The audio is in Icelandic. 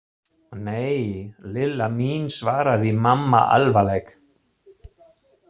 Nei, Lilla mín svaraði mamma alvarleg.